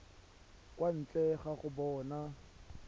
kwa ntle ga go bona